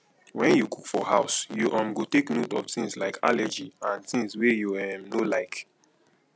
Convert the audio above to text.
when you cook for house you um go take note of things like allergy and things wey you um no like